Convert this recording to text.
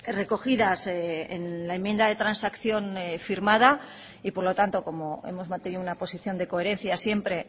recogidas en la enmienda de transacción firmada y por lo tanto como hemos mantenido una posición de coherencia siempre